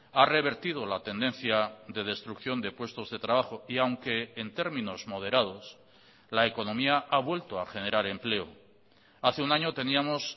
ha revertido la tendencia de destrucción de puestos de trabajo y aunque en términos moderados la economía ha vuelto a generar empleo hace un año teníamos